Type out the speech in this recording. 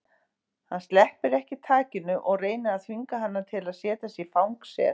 Hann sleppir ekki takinu og reynir að þvinga hana til að setjast í fang sér.